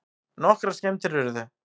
Nokkrar skemmdir urðu